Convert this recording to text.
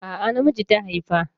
A'a na miji ta haifa.